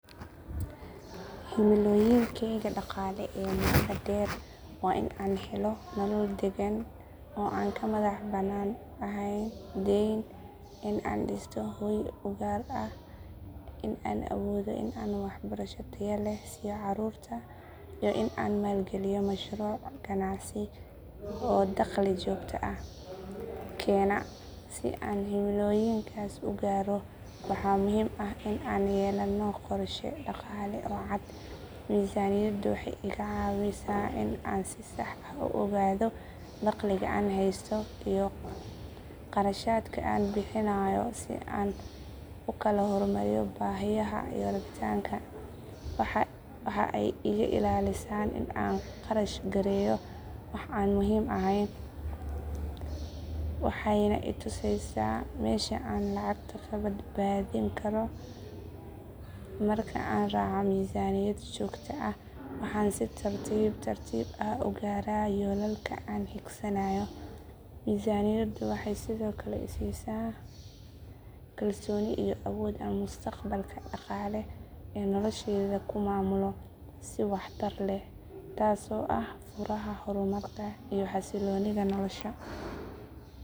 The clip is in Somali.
Himilooyinkayga dhaqaale ee muddada dheer waa in aan helo nolol deggan oo aan ka madax bannaan ahayn deyn, in aan dhisto hoy u gaar ah, in aan awoodo in aan waxbarasho tayo leh siiyo carruurta, iyo in aan maalgeliyo mashruuc ganacsi oo dakhli joogto ah keena. Si aan himilooyinkaas u gaaro waxaa muhiim ah in aan yeelano qorshe dhaqaale oo cad. Miisaaniyaddu waxay iga caawisaa in aan si sax ah u ogaado dakhliga aan haysto iyo kharashaadka aan bixinayo si aan u kala hormariyo baahiyaha iyo rabitaanka. Waxa ay iga ilaalisaa in aan kharash gareeyo wax aan muhiim ahayn, waxayna i tusaysaa meesha aan lacagta ka badbaadin karo. Marka aan raaco miisaaniyad joogto ah waxa aan si tartiib tartiib ah u gaaraa yoolalka aan hiigsanayo. Miisaaniyaddu waxay sidoo kale i siisaa kalsooni iyo awood aan mustaqbalka dhaqaale ee nolosheyda ku maamulo si waxtar leh, taasoo ah furaha horumarka iyo xasiloonida nolosha.